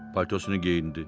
Paltosunu geyindi.